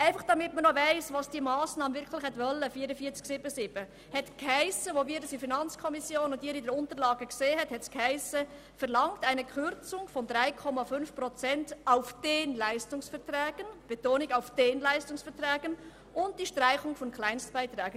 Einfach, damit man noch weiss, was die Massnahme 44.7.7 wirklich gewollt hat: Als wir diese in der FiKo und Sie diese in den Unterlagen sahen, stand dort: «Verlangt eine Kürzung von 3,5 Prozent auf den Leistungsverträgen...», mit Betonung auf «den Leistungsverträgen», «und die Streichung von Kleinstbeiträgen.».